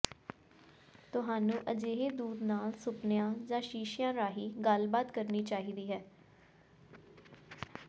ਤੁਹਾਨੂੰ ਅਜਿਹੇ ਦੂਤ ਨਾਲ ਸੁਪਨਿਆਂ ਜਾਂ ਸ਼ੀਸ਼ਿਆਂ ਰਾਹੀਂ ਗੱਲਬਾਤ ਕਰਨੀ ਚਾਹੀਦੀ ਹੈ